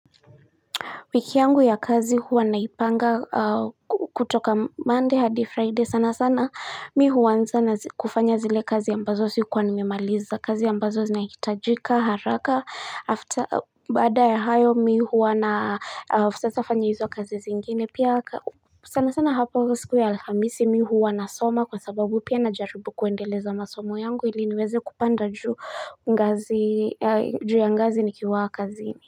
Wiki yangu ya kazi huwa naipanga kutoka monday hadi friday sana sana mi huanza na kufanya zile kazi ambazo sikuwa nimemaliza kazi ya ambazo zinahitajika haraka after baada ya hayo mi huwa na sasa fanya hizo kazi zingine pia sana sana hapo siku ya alhamisi mi huwa nasoma kwa sababu pia najaribu kuendeleza masomo yangu ili niweze kupanda juu ngazi juu ya ngazi nikiwaa kazini.